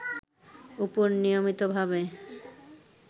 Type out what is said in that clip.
উপর নিয়মিতভাবে